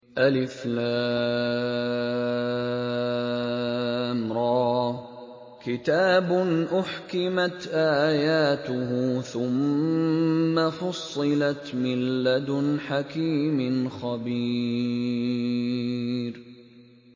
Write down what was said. الر ۚ كِتَابٌ أُحْكِمَتْ آيَاتُهُ ثُمَّ فُصِّلَتْ مِن لَّدُنْ حَكِيمٍ خَبِيرٍ